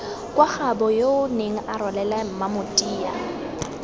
kwa gaaboyoo nenga rwalela mmamotia